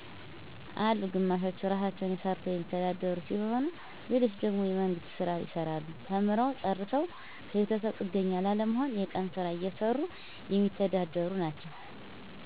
አሉ ግማሾቹ ራሳቸዉ ሰርተዉ የሚተዳደሩ ሲሆኑ ሌሎች ደግሞ የመንግስት ስራ ይሰራሉ ተምረዉ ጨርሰዉ ከቤተሰብ ጥገኛ ላለመሆን የቀን ስራ እየሰሩ የሚተዳደሩ ናቸዉ